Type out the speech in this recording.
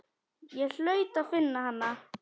Ég hlaut að finna hana.